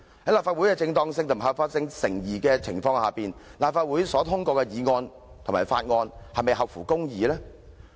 在立法會的正當性和合法性成疑的情況下，立法會所通過的議案和法案是否合乎公義？